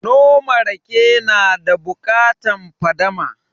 Noma rake na da bukatan fadama